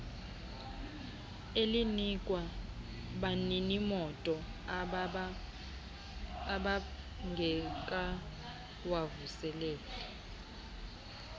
elinikwa baninimoto ababngekawavuseleli